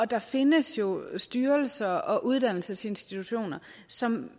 der findes jo styrelser og uddannelsesinstitutioner som